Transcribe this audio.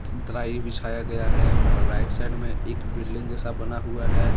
Dry बिछाया गया है और राइट साइड में एक बिल्डिंग जैसा बना हुआ है।